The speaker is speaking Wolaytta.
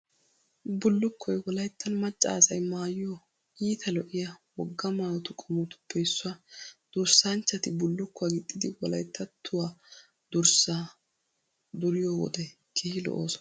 Bullukkoy Wolayttan maccaa asay maayiyo, iita lo'iya, wogaa maayotu qommotuppe issuwaa. Durssanchchati bullukkuwaa gixxidi Wolayttattuwaa durssaa duriyo wode keehi lo'oosona.